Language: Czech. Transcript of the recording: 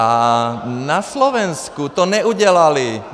A na Slovensku to neudělali.